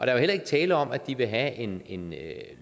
er jo heller ikke tale om at de vil have en en